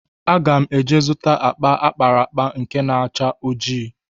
Aga m eje zụta akpa akpara akpa nke na-acha ojii.